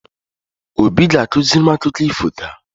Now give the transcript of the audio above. Obi ga-akụziri m akụkọ ifo taa.